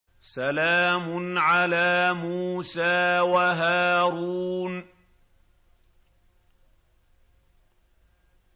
سَلَامٌ عَلَىٰ مُوسَىٰ وَهَارُونَ